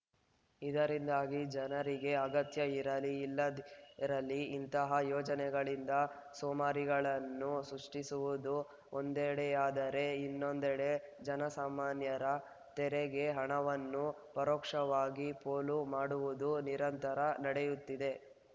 ಇದರಿಂದಾಗಿ ಜನರಿಗೆ ಅಗತ್ಯ ಇರಲಿ ಇಲ್ಲದಿರಲಿ ಇಂತಹ ಯೋಜನೆಗಳಿಂದ ಸೋಮಾರಿಗಳನ್ನು ಸೃಷ್ಟಿಸುವುದು ಒಂದೆಡೆಯಾದರೆ ಇನ್ನೊಂದೆಡೆ ಜನಸಾಮಾನ್ಯರ ತೆರೆಗೆ ಹಣವನ್ನು ಪರೋಕ್ಷವಾಗಿ ಪೋಲು ಮಾಡುವುದು ನಿರಂತರ ನಡೆಯುತ್ತಿದೆ